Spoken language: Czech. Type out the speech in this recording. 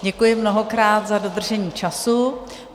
Děkuji mnohokrát za dodržení času.